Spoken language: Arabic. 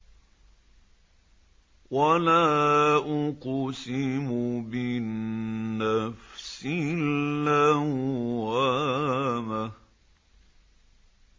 وَلَا أُقْسِمُ بِالنَّفْسِ اللَّوَّامَةِ